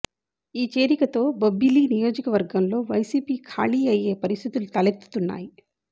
ఈ చేరికతో బొబ్బిలి నియోజకవర్గంలో వైసిపి ఖాళీ అయ్యే పరిస్థితులు తలెత్తుతున్నాయి